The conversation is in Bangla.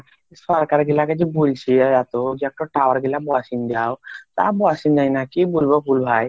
সরকার গুলো যে বলছিল এত tower গুলো বসেন দাও tower বসাইনাই কিবলব ভাই